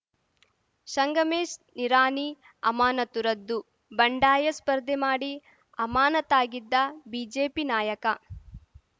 ಸಂಗಮೇಶ್‌ ನಿರಾಣಿ ಅಮಾನತು ರದ್ದು ಬಂಡಾಯ ಸ್ಪರ್ಧೆ ಮಾಡಿ ಅಮಾನತಾಗಿದ್ದ ಬಿಜೆಪಿ ನಾಯಕ